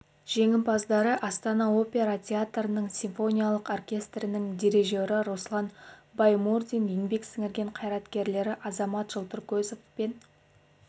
жеңімпаздары астана опера театрының симфониялық оркестрінің дирижері руслан баймурзин еңбек сіңірген қайраткерлері азамат жылтыркөзов пен